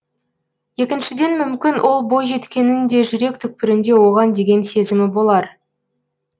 екіншіден мүмкін ол бойжеткеннің де жүрек түкпірінде оған деген сезімі болар